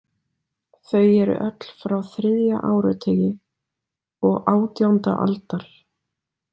Þau eru öll frá þriðja áratugi og átjánda aldar.